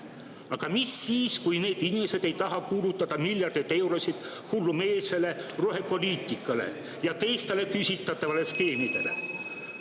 Aga mis siis, kui need inimesed ei taha kulutada miljardeid eurosid hullumeelsele rohepoliitikale ja teistele küsitavatele skeemidele?